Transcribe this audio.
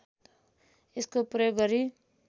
यसको प्रयोग गरी